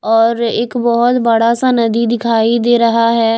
और एक बहुत बड़ा सा नदी दिखाई दे रहा है।